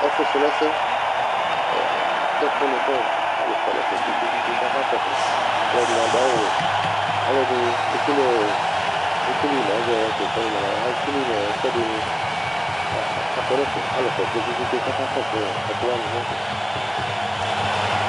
Ɛfʋsrɔ ɛsɛ a ɛ atɛ ɛkʋnɩ kʋ ɔ alʋ kɔ nʋ ɛfɛ kpe-kpe-kpe kʋ akakɔsʋ Alʋɛdɩnɩ adʋ awʋwɛ Alʋɛdɩnɩ ekele ɔ ekele mʋ azɔ tʋ ɛkʋ yɛ nʋ mɛla yɛ a ekele mʋ ɛkʋɛdɩnɩ kʋ a akɔ nʋ ɛfɛ Alʋ kɔ kpe-kpe-kpe kʋ atanɩ akakɔsʋ ɔ ɛkʋ wanɩ nʋ ɛfɛ